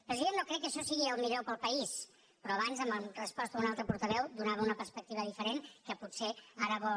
president no crec que això sigui el millor per al país però abans en resposta a un altre portaveu donava una perspectiva diferent que potser ara vol